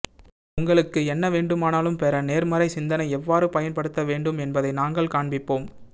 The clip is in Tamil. உங்களுக்கு என்ன வேண்டுமானாலும் பெற நேர்மறை சிந்தனை எவ்வாறு பயன்படுத்த வேண்டும் என்பதை நாங்கள் காண்பிப்போம்